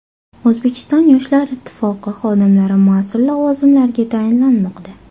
O‘zbekiston Yoshlar ittifoqi xodimlari mas’ul lavozimlarga tayinlanmoqda.